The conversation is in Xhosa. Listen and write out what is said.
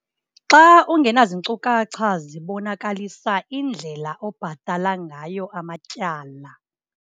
Xa ungenazinkcukacha zibonakalisa indlela obhatala ngayo amatyala.